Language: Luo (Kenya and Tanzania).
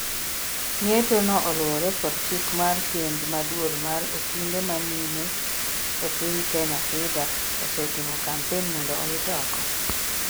ng'etono oluwore kod chik mar kend ma duol mar okinde ma mine epiny Kenya ,FIDA osetimo kampen mondo owit oko